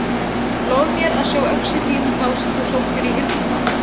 um öngum og reyni að stoppa sjálfan mig með stömum skó